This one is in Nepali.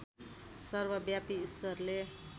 सर्वव्यापी ईश्वरले